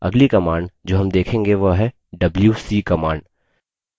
अगली command जो हम देखेंगे वह है wc command